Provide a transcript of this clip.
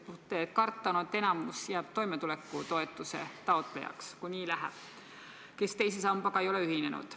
Karta on, et enamik jääb toimetulekutoetuse taotlejaks, need, kes teise sambaga ei ole ühinenud.